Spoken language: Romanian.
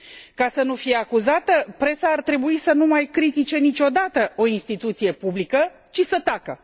Ca să nu fie acuzată, presa ar trebui să nu mai critice niciodată o instituție publică, ci să tacă.